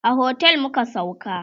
a otel muka sauka